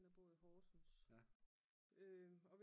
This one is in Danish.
Og en der bor i Horsens